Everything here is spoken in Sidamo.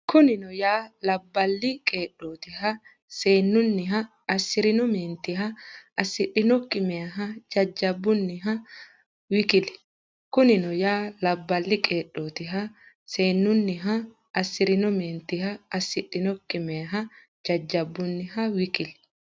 Kunino yaa, labballi qeedhootiha, seen- nunniha, assi’rino meentiha, assidhinokki meyaaha, jajjabbunniha w k l Kunino yaa, labballi qeedhootiha, seen- nunniha, assi’rino meentiha, assidhinokki meyaaha, jajjabbunniha w k l.